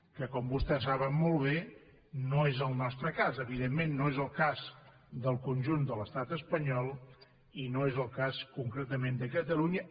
que com vostès saben molt bé no és el nostre cas evidentment no és el cas del conjunt de l’estat espanyol i no és el cas concretament de catalunya